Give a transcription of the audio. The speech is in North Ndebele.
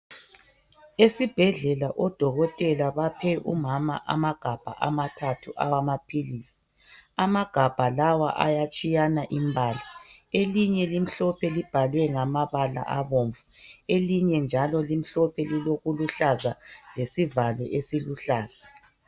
Esibhedlela odokotela baphe umama amagabha amathathu awamaphilisi. Amagabha lawa ayatshiyana imbala elinye limhlophe libhalwe ngamabala abomvu, elinye njalo limhlophe lilokuluhlaza lesivalo esiluhlaza.